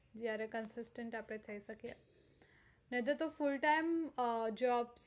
જયારે consistence આપણે થઇ શકે નઈતર full time job